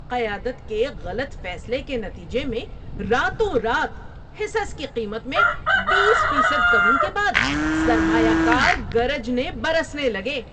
قیادت کے غلط فیصلے کے نتیجے میں راتوں رات حصص کی قیمت میں بیس فیصد کمی کے بعد سرمایہ کار گرجنے برسنے لگے۔